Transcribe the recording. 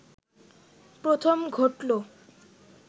প্রথম ঘটল